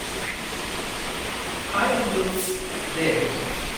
High, Anju ! दे बुं।